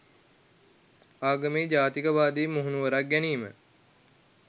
ආගමේ ජාතිකවාදී මුහුණුවරක් ගැනීම